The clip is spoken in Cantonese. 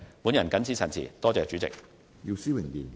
我謹此陳辭，多謝主席。